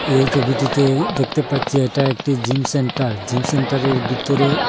এই ছবিটিতে দেখতে পাচ্ছি এটা একটি জিম সেন্টার জিম সেন্টারের বিতরেও --